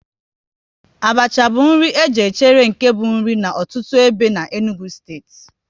Abacha bụ nri e ji echere nke bụ nri n'ọtụtụ ebe n'Enugu steeti